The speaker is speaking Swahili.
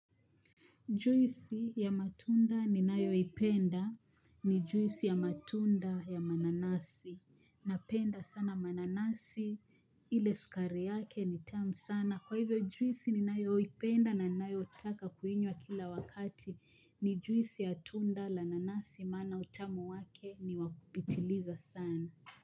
Juisi ya matunda ninayo penda ni juisi ya matunda ya mananasi na penda sana mananasi ile sukari yake ni tamu sana. Kwa hivyo juisi ninayoipenda na ninayotaka kuinywa kila wakati ni juisi ya tunda la nanasi maana utamu wake ni wa kupitiliza sana.